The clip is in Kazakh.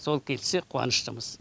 сол келсе қуаныштымыз